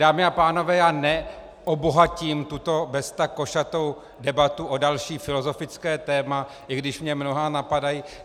Dámy a pánové, já neobohatím tuto beztak košatou debatu o další filozofické téma, i když mě mnohá napadají.